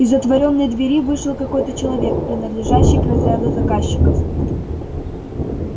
из отворенной двери вышел какой-то человек принадлежащий к разряду заказчиков